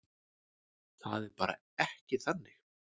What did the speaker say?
Það er bara ekki þannig.